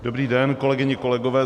Dobrý den, kolegyně, kolegové.